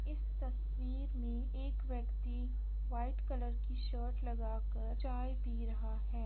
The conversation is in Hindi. इस तस्वीर में एक व्यक्ति व्हाइट कलर की शर्ट लगा कर चाय पी रहा हैं।